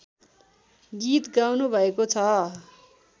गीत गाउनुभएको छ